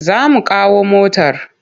Za mu kawo motar.